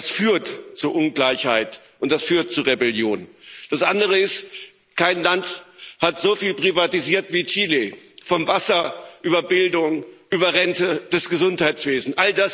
Das führt zu Ungleichheit, und das führt zu Rebellion. Das andere ist Kein Land hat so viel privatisiert wie Chile vom Wasser über Bildung, über Rente bis zum Gesundheitswesen.